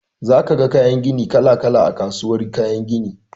Za ka ga kayan gini kala-kala a kasuwar kayan gini.